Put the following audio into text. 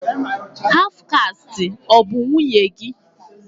Haf kasti ọ bụ nwunye gị?